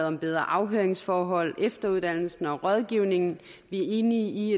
om bedre afhøringsforhold efteruddannelse og rådgivning vi er enige i